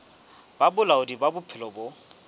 ba bolaodi ba bophelo bo